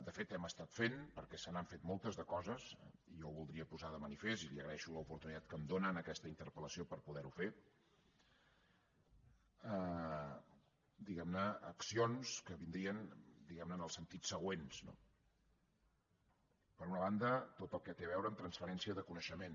de fet hem fet perquè se n’han fet moltes de coses i jo ho voldria posar de manifest i li agraeixo l’oportunitat que em dóna amb aquesta interpel·lació per poderho fer accions que vindrien en el sentit següent no per una banda tot el que té a veure amb transferència de coneixement